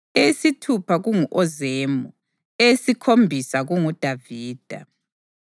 eyesithupha kungu-Ozemu, eyesikhombisa kunguDavida.